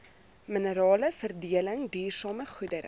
mineraleveredeling duursame goedere